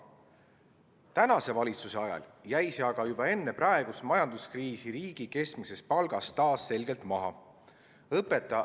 Tänase valitsuse ajal jäi see aga juba enne praegust majanduskriisi riigi keskmisest palgast taas selgelt maha.